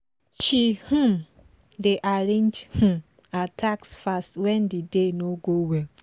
she um dey arrange um her task fast when the day no go well